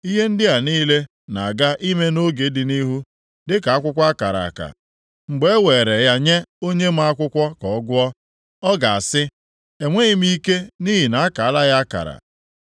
Ihe ndị a niile na-aga ime nʼoge dị nʼihu dịka akwụkwọ a kara akara. Mgbe e weere ya nye onye ma akwụkwọ ka ọ gụọ, ọ ga-asị, “Enweghị m ike, nʼihi na a kaala ya akara.”